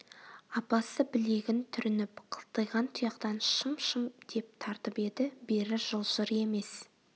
апасы білегін түрініп қылтиған тұяқтан шым-шым деп тартып еді бері жылжыр емес